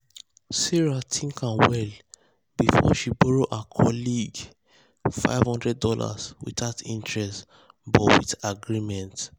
sarah think am well before she borrow her colleague borrow her colleague five hundred dollars without interest but with agreement.